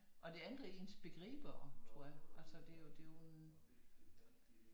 Og det ændrer ens begreber tror jeg altså det er jo en